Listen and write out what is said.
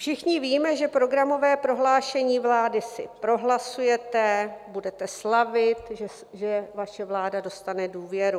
Všichni víme, že programové prohlášení vlády si prohlasujete, budete slavit, že vaše vláda dostane důvěru.